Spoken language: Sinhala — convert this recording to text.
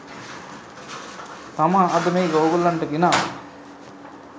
තමා අද මේක ඕගොල්ලන්ට ගෙනාවේ.